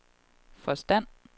forstand